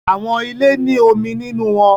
Awọn ile ni omi ninu wọn